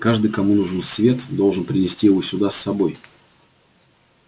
каждый кому нужен свет должен принести его сюда с собой